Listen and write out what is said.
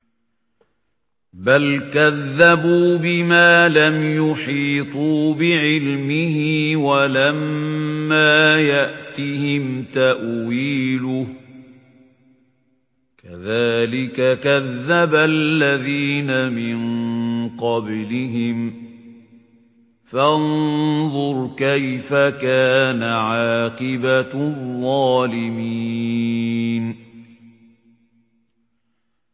بَلْ كَذَّبُوا بِمَا لَمْ يُحِيطُوا بِعِلْمِهِ وَلَمَّا يَأْتِهِمْ تَأْوِيلُهُ ۚ كَذَٰلِكَ كَذَّبَ الَّذِينَ مِن قَبْلِهِمْ ۖ فَانظُرْ كَيْفَ كَانَ عَاقِبَةُ الظَّالِمِينَ